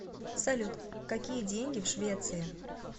салют какие деньги в швеции